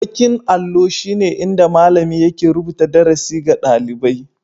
Baƙin allo shine inda malami yake rubuta darasi ga ɗalibai